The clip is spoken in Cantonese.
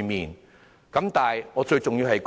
但是，有一點更為重要，便是